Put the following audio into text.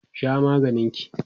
Sha maganin ki!